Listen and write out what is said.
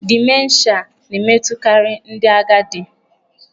Dimenshịa na-emetụtakarị ndị agadi.